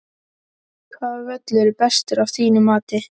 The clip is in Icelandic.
Hvaða völlur er bestur af þínu mati?